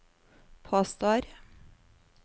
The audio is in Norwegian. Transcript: påstår